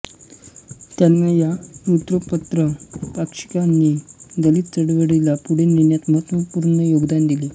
त्यांना या वृत्तपत्रपाक्षिकांनी दलित चळवळीला पुढे नेण्यात महत्त्वपूर्ण योगदान दिले